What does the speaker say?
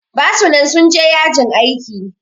Basu nan sun je yajin aiki